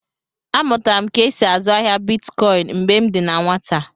A mụtara m ka e sị azụ ahịa Bịtkọin mgbè m dị na nwata